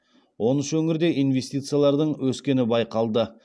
он үш өңірде инвестициялардың өскені байқалды